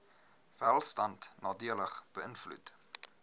welstand nadelig beïnvloed